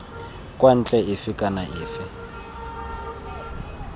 kwa ntle efe kana efe